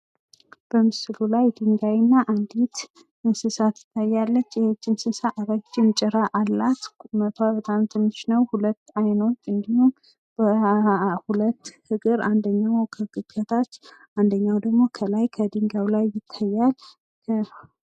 በምስሉ ላይ ዲንጋይና አንዲት እንስሳት የሚታዩ ሲሆን ይህች እንስሳት ትንሽ ቁመትና ረጅም ጭራ እንዲሁም ደግሞ ሁለት አይኖችና እጆች ይታያሉ።